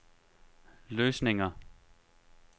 løsninger